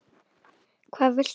Hvað viltu?